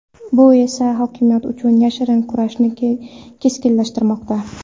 Bu esa hokimiyat uchun yashirin kurashni keskinlashtirmoqda.